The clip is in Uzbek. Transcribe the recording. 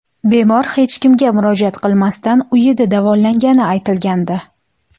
Bemor hech kimga murojaat qilmasdan uyida davolangani aytilgandi.